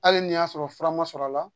Hali ni y'a sɔrɔ fura ma sɔrɔ a la